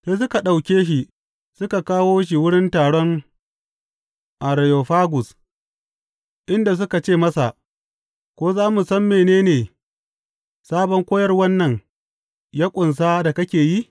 Sai suka ɗauke shi suka kawo shi wurin taron Areyofagus, inda suka ce masa, Ko za mu san mene ne sabon koyarwan nan ya ƙunsa da kake yi?